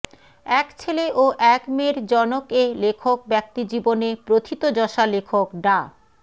এক ছেলে ও এক মেয়ের জনক এ লেখক ব্যক্তিজীবনে প্রথিতযশা লেখক ডা